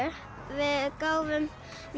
við gáfum